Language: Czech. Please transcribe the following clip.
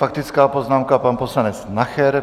Faktická poznámka pan poslanec Nacher.